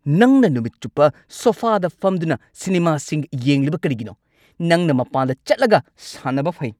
ꯅꯪꯅ ꯅꯨꯃꯤꯠ ꯆꯨꯞꯄ ꯁꯣꯐꯥꯗ ꯐꯝꯗꯨꯅ ꯁꯤꯅꯤꯃꯥꯁꯤꯡ ꯌꯦꯡꯂꯤꯕ ꯀꯔꯤꯒꯤꯅꯣ? ꯅꯪꯅ ꯃꯄꯥꯟꯗ ꯆꯠꯂꯒ ꯁꯥꯟꯅꯕ ꯐꯩ!